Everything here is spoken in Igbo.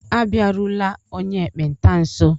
Abịarula onye ekpenta nso!